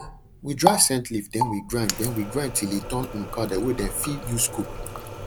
we dry scent leaf then we grind then we grind till e turn um powder wey dem fir use cook